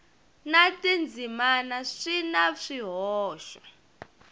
na tindzimana swi na swihoxo